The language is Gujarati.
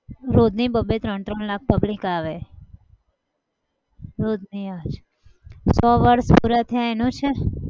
રોજની બ-બે ત્રણ-ત્રણ લાખ pubilc આવે રોજની આવે. સો વર્ષ પુરા થાય એનું છે